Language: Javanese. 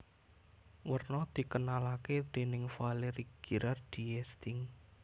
Werna dikenalake déning Valéry Gerard d Esting